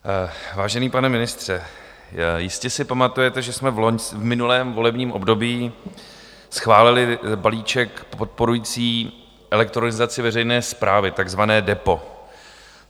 Vážený pane ministře, jistě si pamatujete, že jsme v minulém volebním období schválili balíček podporující elektronizaci veřejné správy, takzvané DEPO.